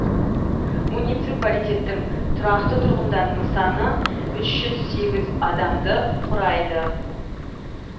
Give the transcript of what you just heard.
муниципалитеттің тұрақты тұрғындарының саны үш жүз сегіз адамды құрайды